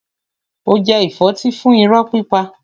Ó jẹ ìfọ́tí fún irọ́ pípa.